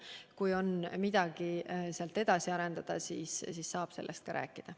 Kui on vaja midagi edasi arendada, siis saab sellest rääkida.